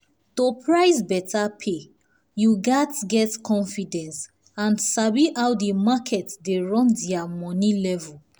to price better pay you gats get confidence and sabi how the market dey run their money level.